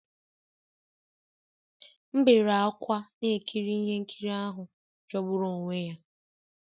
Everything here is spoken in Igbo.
M bere ákwá na-ekiri ihe nkiri ahụ jọgburu onwe ya